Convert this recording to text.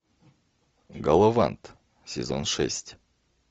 головант сезон шесть